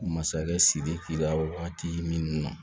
Masakɛ sidiki la waati min na